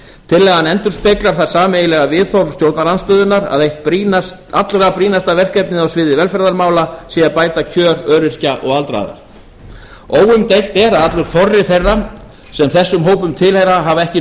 tillagan endurspeglar það sameiginlega viðhorf stjórnarandstöðunnar að eitt allra brýnasta verkefnið á sviði velferðarmála sé að bæta kjör öryrkja og aldraðra óumdeilt er að allur þorri þeirra sem þessum hópum tilheyra hefur ekki